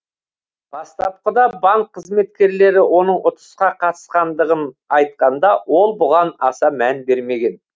бастапқыда банк қызметкерлері оның ұтысқа қатысқандығын айтқанда ол бұған аса мән бермеген